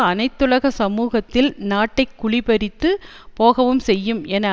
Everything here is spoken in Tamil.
அனைத்துலக சமூகத்தில் நாட்டை குழிபறிந்து போகவும் செய்யும் என